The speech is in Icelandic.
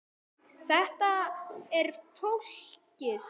Þetta er flókið.